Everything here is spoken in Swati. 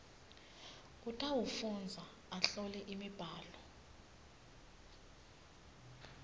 utawufundza ahlole imibhalo